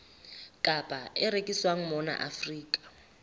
kapa e rekiswang mona afrika